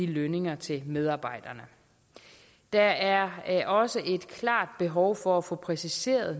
lønninger til medarbejderne der er også et klart behov for at få præciseret